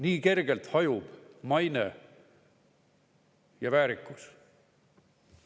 Nii kergelt hajub maine ja väärikus.